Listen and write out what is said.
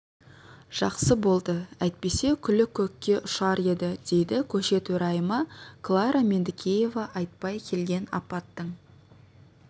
жақсы болды әйтпесе күлі көкке ұшар еді дейді көше төрайымы клара меңдікеева айтпай келген апаттың